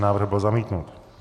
Návrh byl zamítnut.